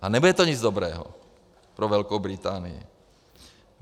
A nebude to nic dobrého pro Velkou Británii.